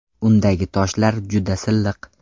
Undagi toshlar juda silliq.